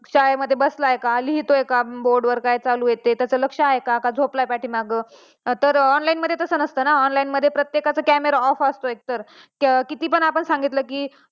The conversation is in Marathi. शाळेमध्ये बसतात का, लिहतोय का? board वर काय चालू आहे ते, त्याच लक्ष आहे का? कि झोपला मागे? तर online मध्ये तस नसत ना online मध्ये प्रत्येकच camera off असतो. किती पण सांगितलं की,